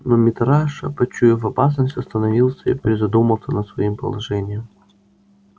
но митраша почуяв опасность остановился и призадумался над своим положением